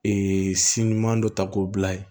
Ee si ɲuman dɔ ta k'o bila yen